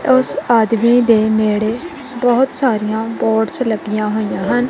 ਉੱਸ ਆਦਮੀ ਦੇ ਨਿਹੜੇ ਬਹੁਤ ਸਾਰੀਆਂ ਬੋਰਡਸ ਲੱਗੀਆਂ ਹੋਈਆਂ ਹਨ।